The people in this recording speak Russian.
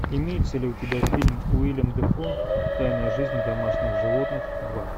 имеется ли у тебя фильм уильям дефо тайная жизнь домашних животных два